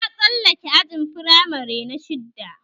Na tsallake ajin firamare na shidda